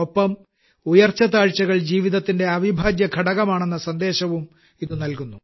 ഒപ്പം ഉയർച്ചതാഴ്ചകൾ ജീവിതത്തിന്റെ അവിഭാജ്യഘടകമാണെന്ന സന്ദേശവും ഇതു നല്കുന്നു